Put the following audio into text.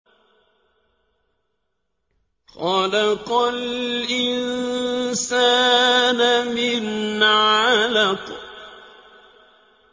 خَلَقَ الْإِنسَانَ مِنْ عَلَقٍ